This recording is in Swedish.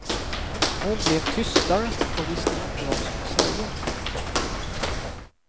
Hon blev tystare och visste inte vad hon skulle säga.